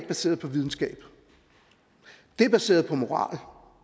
baseret på videnskab det er baseret på moral